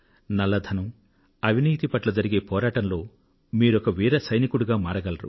నల్ల ధనం అవినీతి పట్ల జరిగే పోరాటంలో మీరొక వీర సైనికుడిగా మారగలరు